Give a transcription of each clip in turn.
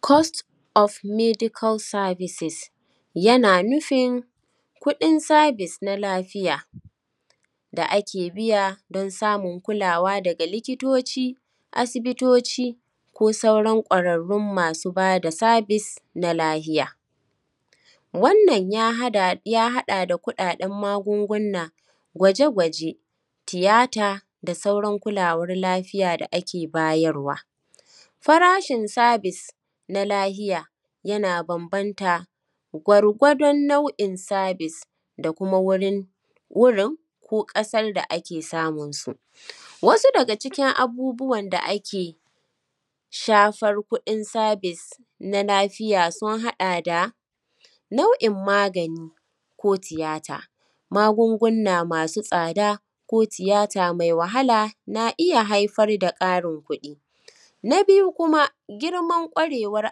Cost of medical services yana nufin kuɗin service na lafiya da ake biya don samun kulawa daga likitoci, asibitoci ko sauran ƙwararrun masu ba da service na lafiya. Wannan ya haɗa da kuɗaɗen magunguna, gwaje-gwaje, tiyata da sauran kulawar lafiya da ake bayarwa. Farashin service na lafiya yana bambanta gwargwadon nau’in service da kuma wurin wurin ko ƙasar da ake samun su. Wasu daga cikin abubuwan da ake shafar kuɗin service na lafiya sun haɗa da: nau’in magani ko tiyata, magungunna masu tsada ko tiyata mai wahala, na iya haifar da ƙarin kuɗi. Na biyu kuma, girman ƙwarewar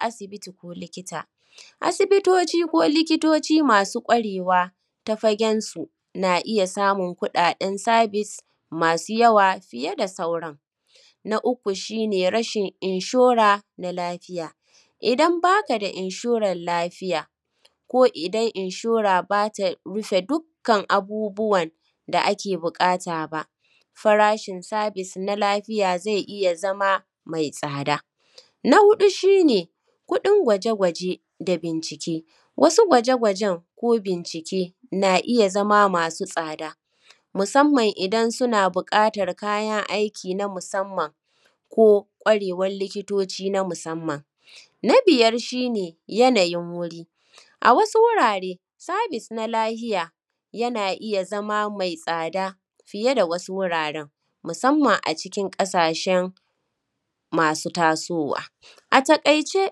asibiti ko likita, asibitoci ko likitoci masu ƙwarewa ta fagensu na iya samun kuɗaɗen service masu yawa fiye da sauran. Na uku shi ne rashin inshora na lafiya, idan ba ka da inshorar lafiya, ko idan inshora ba ta iya rufe dukkan abubuwan da ake buƙata ba, farashin service na lafiya zai iya zama mai tsada. Na huɗu shi ne kuɗin gwaje-gwaje da bincike, wasu gwaje-gwajen ko bincike na iya zama masu tsada, musamman idan suna buƙatar kayan aiki na musamman ko ƙwarewar likitoci na musamman.. Na biyar shi ne yanayin wuri, a wasu wurare, service na lafiya yana iya zama mai tsada fiye da wasu wuraren, musamman a cikin ƙasashen masu tasowa. A taƙaice,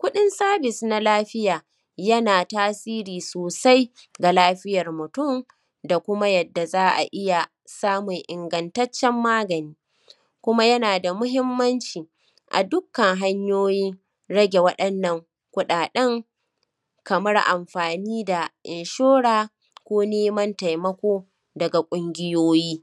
kuɗin service na lafiya yana tasiri sosai da lafiyar mutum da kuma yadda za a iya samun ingantaccen magani, kuma yana da muhimmanci a dukkan hanyoyin rage waɗannan kuɗaɗen kamar amfani da inshora ko neman taimako daga ƙungiyoyi.